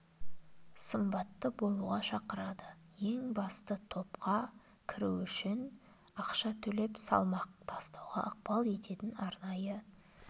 сымбатты болуға шақырады ең бастысы топқа кіру үшін ақша төлеп салмақ тастауға ықпал ететін арнайы